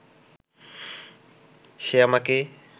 সে আমাকে